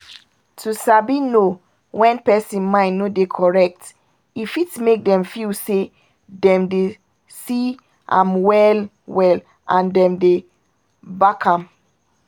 to sabi know when pesin mind no dey correct e fit make dem feel say dem dey see am well-well and dem dey back am